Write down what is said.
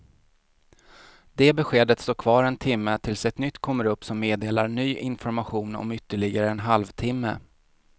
Det beskedet står kvar en timme tills ett nytt kommer upp som meddelar ny information om ytterligare en halv timme.